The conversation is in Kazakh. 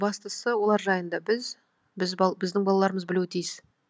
бастысы олар жайында біз біздің балаларымыз білуі тиіс